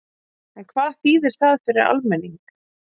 En hvað þýðir það fyrir almenning?